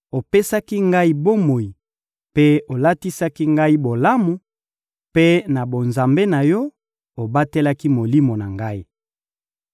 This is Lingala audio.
Opesaki ngai bomoi mpe otalisaki ngai bolamu; mpe na bonzambe na Yo, obatelaki molimo na ngai.